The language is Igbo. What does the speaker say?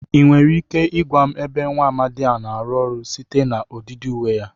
Ị nwere ike igwa m ebe nwa amadị a na-arụ ọrụ site na ọdịdị uwe ya?